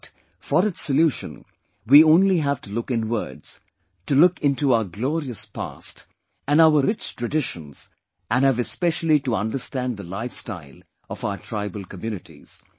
But, for its solution we only have to look inwards, to look into our glorious past and our rich traditions and have especially to understand the lifestyle of our tribal communities